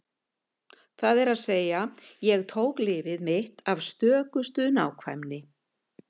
Það er að segja: Ég tók lyfið mitt af stökustu nákvæmni.